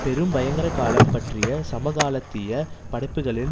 பெரும் பயங்கரகாலம் பற்றிய சமகாலத்திய படைப்புக்களின்